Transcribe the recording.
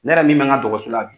Ne yɛrɛ min bɛ n ka dɔgɔso la bi.